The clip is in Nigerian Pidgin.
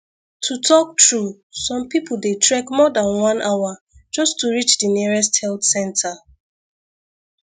to talk true some people dey trek more than one hour just to reach the nearest health center